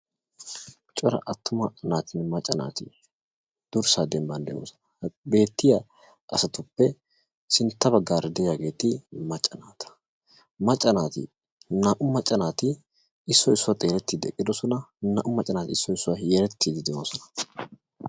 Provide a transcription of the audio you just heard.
Cora attuma naatinne macca naatii durssaa dembbaan de'oosona. beettiyaa asatuppe sintta baggaara de'iyaageti macca naata. naa"u macca naati issoy issuwaa xeellettiidi eqqidosona. naa"u macca naati issoy issuwaara yerettiidi de'oosona.